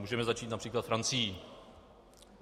Můžeme začít například Francií.